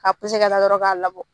k'a dɔrɔn k'a labɔ.